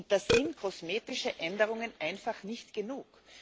Da sind kosmetische Änderungen einfach nicht genug.